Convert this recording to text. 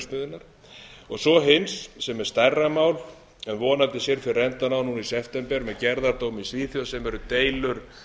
kísilverksmiðjunnar og svo hins sem er stærra mál en vonandi sér fyrir endann á núna í september með gerðardómi í svíþjóð sem eru deilur